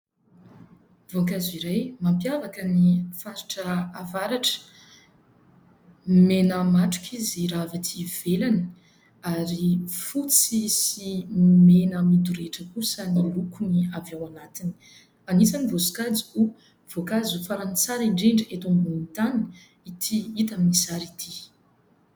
Voankazo iray mampiavaka ny faritra avaratra. Mena matroka izy raha avy atỳ ivelany ary fotsy sy mena midorehitra kosa ny lokon' ny avy ao anatiny. Anisan' ny voasokajy ho voankazo farany tsara indrindra eto ambonin'ny tany ity hita amin' ny sary ity.